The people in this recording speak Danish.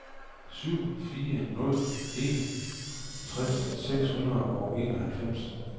syv fire nul en tres syv hundrede og enoghalvfems